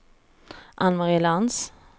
Ann-Marie Lantz